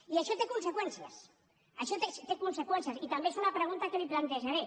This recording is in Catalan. i això té conseqüències això té conseqüències i també és una pregunta que li plantejaré